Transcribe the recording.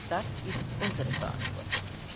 Das ist unsere Verantwortung.